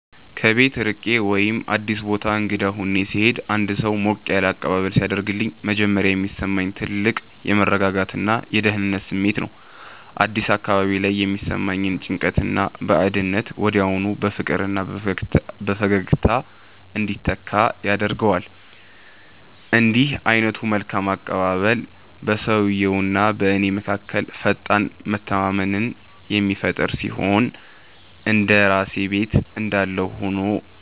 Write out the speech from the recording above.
ከቤት ርቄ ወይም አዲስ ቦታ እንግዳ ሆኜ ስሄድ አንድ ሰው ሞቅ ያለ አቀባበል ሲያደርግልኝ መጀመሪያ የሚሰማኝ ትልቅ የመረጋጋትና የደህንነት ስሜት ነው። አዲስ አካባቢ ላይ የሚሰማኝን ጭንቀትና ባዕድነት ወዲያውኑ በፍቅርና በፈገግታ እንዲተካ ያደርገዋል። እንዲህ ዓይነቱ መልካም አቀባበል በሰውየውና በእኔ መካከል ፈጣን መተማመንን የሚፈጥር ሲሆን፣ እንደ ራሴ ቤት እንዳለሁ ሆኖ